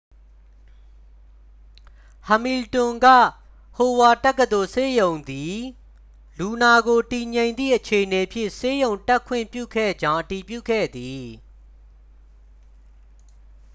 ဟမီလ်တွန် က ဟိုဝါ့ဒ် တက္ကသိုလ်ဆေးရုံးသည် လူနာကို တည်ငြိမ်သည့် အခြေအနေဖြင့် ဆေးရုံတက်ခွင့်ပြုခဲ့ကြောင်း အတည်ပြုခဲ့သည်